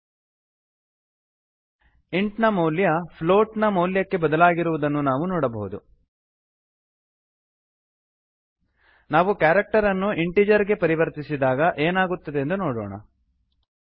int int ನ ಮೌಲ್ಯ float float ನ ಮೌಲ್ಯಕ್ಕೆ ಬದಲಾಗಿರುವುದನ್ನು ನಾವು ನೋಡಬಹುದು ನಾವುcharacter ಕ್ಯಾರಕ್ಟರನ್ನು ಇಂಟಿಜರ್ ಇಂಟೀಜರ್ ಗೆ ಪರಿವರ್ತಿಸಿದಾಗ ಏನಾಗುತ್ತದೆಂದು ನೋಡೋಣ